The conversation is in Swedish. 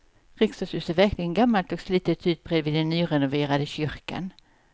Riksdagshuset ser verkligen gammalt och slitet ut bredvid den nyrenoverade kyrkan.